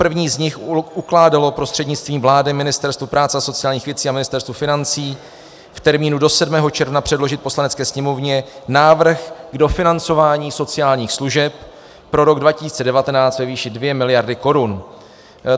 První z nich ukládalo prostřednictvím vlády Ministerstvu práce a sociálních věcí a Ministerstvu financí v termínu do 7. června předložit Poslanecké sněmovně návrh k dofinancování sociálních služeb pro rok 2019 ve výši 2 miliardy korun.